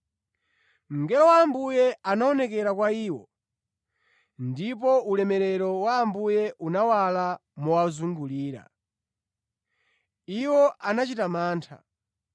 Mngelo wa Ambuye anaonekera kwa iwo ndipo ulemerero wa Ambuye unawala mowazungulira. Iwo anachita mantha.